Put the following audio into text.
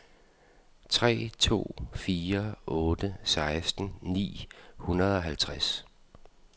tre to fire otte seksten ni hundrede og halvtreds